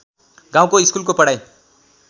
गाउँको स्कुलको पढाइ